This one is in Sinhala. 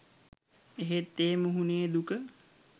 එහෙත් ඒ මුහුණේ දුක